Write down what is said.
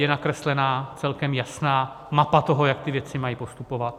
Je nakreslená celkem jasná mapa toho, jak ty věci mají postupovat.